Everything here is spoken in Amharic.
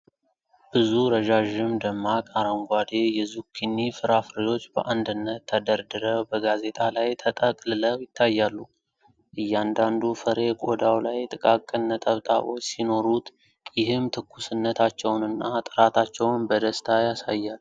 ብዙ ረዣዥም፣ ደማቅ አረንጓዴ የዙኪኒ ፍራፍሬዎች በአንድነት ተደርድረው በጋዜጣ ላይ ተጠቅልለው ይታያሉ። እያንዳንዱ ፍሬ ቆዳው ላይ ጥቃቅን ነጠብጣቦች ሲኖሩት፤ ይህም ትኩስነታቸውንና ጥራታቸውን በደስታ ያሳያል።